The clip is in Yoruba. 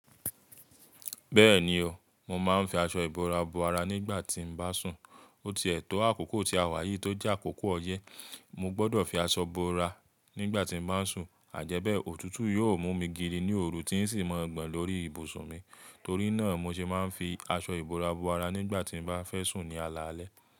Bẹ́ẹ̀ni o, mo máa ń fi aṣọ ìbora bo ara nígbà tí mo bá sùn. O ti ètò àkókò tí a wà yìí tó jẹ́ àkókò ọyẹ́, mo gbọdọ̀ fi aṣọ bora nígbà tí mo bá ń sùn àjẹ́bẹ̀ẹ́ òtútù yóò mú mi gidi ní òru tí ń sì máa gbọn lórí ibùsùn mi. Torí náà mo ṣe máa ń fi aṣọ ìbora bo ara nígbà tí mo bá fẹ́ sùn ní alaalẹ́.